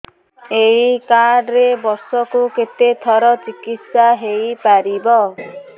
ଏଇ କାର୍ଡ ରେ ବର୍ଷକୁ କେତେ ଥର ଚିକିତ୍ସା ହେଇପାରିବ